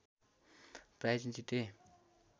price जिते